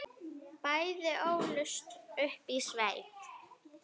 Bæði ólust upp í sveit.